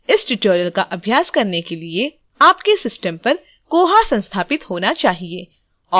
इस tutorial का अभ्यास करने के लिए आपके system पर koha संस्थापित होना चाहिए